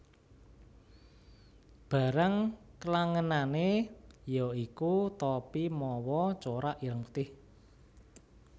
Barang klangenané yaiku topi mawa corak ireng putih